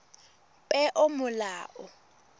peomolao